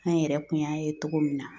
An yɛrɛ kun y'a ye togo min na